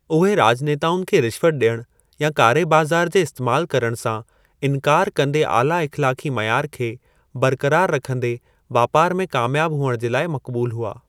उहे राज॒नेताउनि खे रिश्वत डि॒यणु या कारे बाज़ार जे इस्तैमालु करणु सां इनिकारु कंदे आला इख़्लाक़ी मयार खे बरक़रार रखन्दे वापार में क़ामयाबु हुअणु जे लाइ मक़बूलु हुआ।